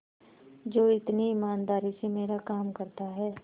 जो इतनी ईमानदारी से मेरा काम करता है